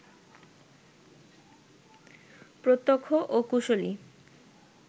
প্রত্যক্ষ ও কুশলী